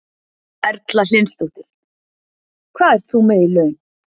Erla Hlynsdóttir: Hvað ert þú með í laun?